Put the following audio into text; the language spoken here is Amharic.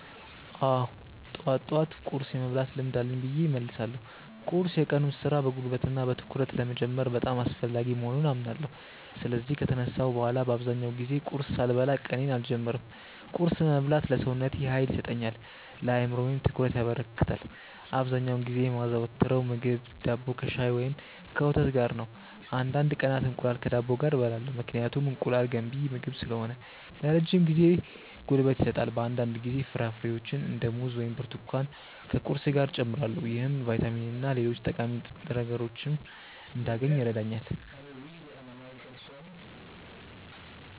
አዎ፣ ጠዋት ጠዋት ቁርስ የመብላት ልምድ አለኝ ብዬ እመልሳለሁ። ቁርስ የቀኑን ሥራ በጉልበትና በትኩረት ለመጀመር በጣም አስፈላጊ መሆኑን አምናለሁ። ስለዚህ ከተነሳሁ በኋላ በአብዛኛው ጊዜ ቁርስ ሳልበላ ቀኔን አልጀምርም። ቁርስ መብላት ለሰውነቴ ኃይል ይሰጠኛል፣ ለአእምሮዬም ትኩረት ያበረክታል። አብዛኛውን ጊዜ የማዘወትረው ምግብ ዳቦ ከሻይ ወይም ከወተት ጋር ነው። አንዳንድ ቀናት እንቁላል ከዳቦ ጋር እበላለሁ፣ ምክንያቱም እንቁላል ገንቢ ምግብ ስለሆነ ለረጅም ጊዜ ጉልበት ይሰጣል። በአንዳንድ ጊዜ ፍራፍሬዎችን እንደ ሙዝ ወይም ብርቱካን ከቁርሴ ጋር እጨምራለሁ። ይህም ቫይታሚንና ሌሎች ጠቃሚ ንጥረ ምግቦችን እንዳገኝ ይረዳኛል።